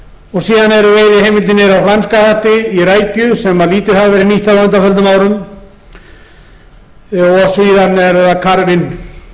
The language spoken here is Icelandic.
og síðan eru veiðiheimildir niðri á flæmska hatti í rækju sem lítið hafa verið nýttar á undanförnum árum og síðan er það karfinn